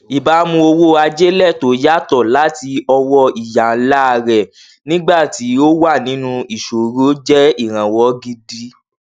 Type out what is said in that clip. ìbámu owó àjèlẹ tó yàtọ láti ọwọ ìyá ńlá rẹ nígbà tí ó wà nínú ìṣòro jẹ ìránwọ gidi